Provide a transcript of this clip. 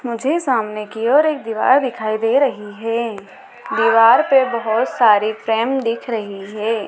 मुझे सामने की ओर एक दीवार दिखाई दे रही है दीवार पर बहोत सारी फ्रेम दिख रही है।